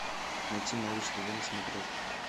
найти малыш тв на смотрешке